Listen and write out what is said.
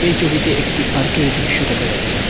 এই ছবিতে একটি পার্কের দৃশ্য দেখা যাচ্ছে।